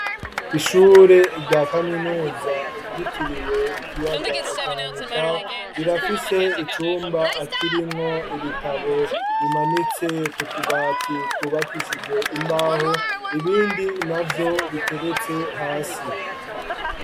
Ishure rya kaminuza ryitiriwe ikiyaga Tanganyika, rirafise icumba kirimwo ibitabo bimanitse kutubati twubakishije imbaho ibindi navyo biteretse hasi.